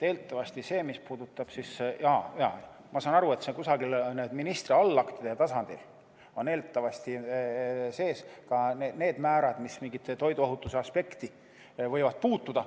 Jah, ma saan aru, et kusagil ministri allaktide tasandil on eeldatavasti sees ka need määrad, mis mingisse toiduohutuse aspekti võivad puutuda.